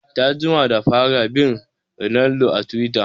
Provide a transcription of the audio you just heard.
Ta jima da fara bin ronaldo a twitter